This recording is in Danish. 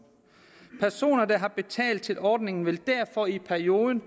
personer der har betalt til ordningerne vil derfor i perioden